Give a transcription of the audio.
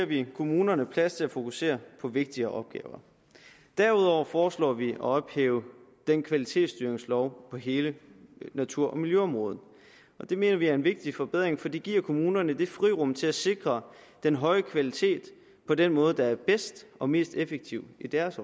vi kommunerne plads til at fokusere på vigtigere opgaver derudover foreslår vi at ophæve kvalitetsstyringsloven på hele natur og miljøområdet det mener vi er en vigtig forbedring for det giver kommunerne et frirum til at sikre den høje kvalitet på den måde der er bedst og mest effektiv i deres